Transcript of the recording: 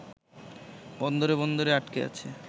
বন্দরে বন্দরে আটকে আছে